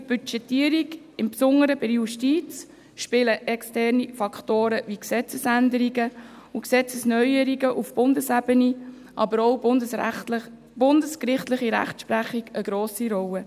Für die Budgetierung, im Besonderen bei der Justiz, spielen externe Faktoren, wie Gesetzesänderungen und Gesetzesneuerungen auf Bundesebene, aber auch die bundesgerichtliche Rechtsprechung eine grosse Rolle.